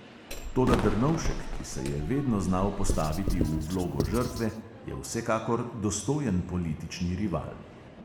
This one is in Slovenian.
Toda drnovšek, ki se je vedno znal postaviti v vlogo žrtve, je vsekakor dostojen politični rival.